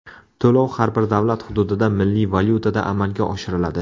To‘lov har bir davlat hududida milliy valyutada amalga oshiriladi.